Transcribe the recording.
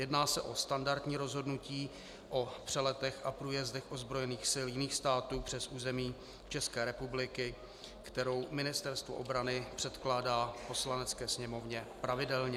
Jedná se o standardní rozhodnutí o přeletech a průjezdech ozbrojených sil jiných států přes území České republiky, kterou Ministerstvo obrany předkládá Poslanecké sněmovně pravidelně.